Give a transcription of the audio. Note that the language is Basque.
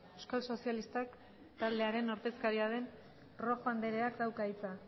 euskal sozialistak taldearen ordezkaria den rojo andreak dauka hitza